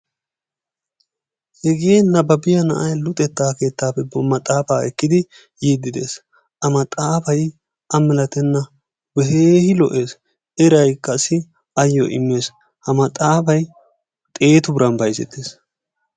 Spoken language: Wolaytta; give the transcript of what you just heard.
Hegee nababbiya na'ay luxetta keettaappe maxaafaa ekkidi yiidi des a maxaafay a malatenna i keehi lo'ees, eraykkassi ayoo immees ha maxaaafay xeetu biran bayzzetees.